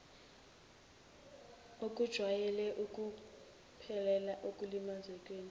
okujwayele ukuphelela ekulimazekeni